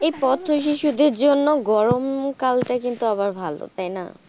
এই পথ শিশুদের জন্য গরম কাল টাই আবার ভালো তাই না.